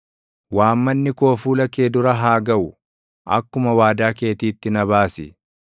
Waammanni koo fuula kee dura haa gaʼu; akkuma waadaa keetiitti na baasi.